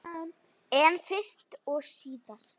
En fyrst og síðast.